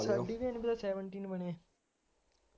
seventeen ਬਣੇ